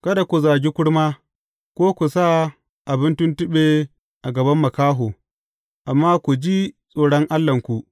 Kada ku zagi kurma, ko ku sa abin tuntuɓe a gaban makaho, amma ku ji tsoron Allahnku.